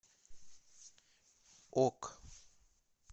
ок